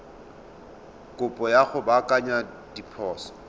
kopo ya go baakanya diphoso